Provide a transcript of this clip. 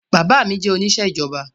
Bàbá mi jẹ́ oníṣẹ́ ìjọba